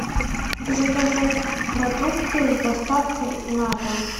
заказать продукты с доставкой на дом